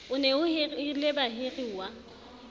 o ne o hirile bahiruwa